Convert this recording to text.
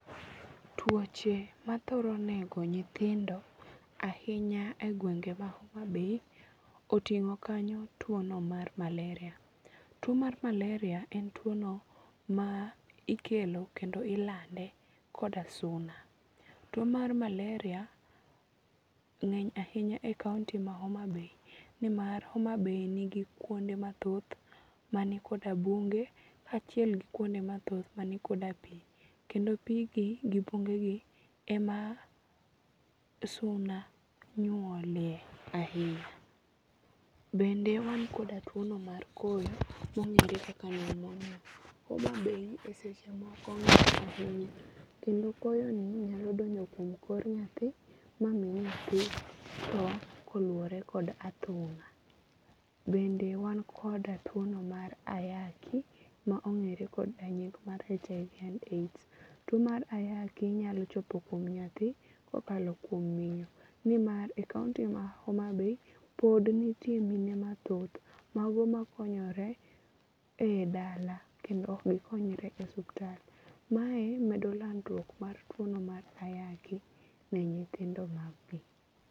Tuoche mathoro nego nyithindo ahinya e gwenge ma Homabay oting'o kanyo tuono mar malaria. Tuo mar malaria en tuono ma ikelo kendo ilande koda suna. Tuo mar malaria ng'eny ahinya e kaonti ma homabay nimar homabay nigi kuonde mathoth manikoda bunge kaachiel gi kuonde mathoth manikoda pi. Kendo pi gi gi bungegi ema suna nyuolye ahinya. Bende wan koda tuono mar koyo mong'ere kaka Pneumonia. Homabay e seche moko ng'ich ahinya kendo koyoni nyalo donjo kuom kor nyathi mami nyathi tho koluwore kod athung'a. Bende wan koda tuono mar ayaki ma ong'ere koda nying mar HIV and AIDS. Tuo mar ayaki nyalo chopo kuom nyathi kokalo kuom min, nimar e kaonti ma homabay, pod nitie mine mathoth mago makonyore e dala kendo ok gikonyre e osuptal. Mae medo landruok mar tuono mar ayaki ne nyithindo maggi.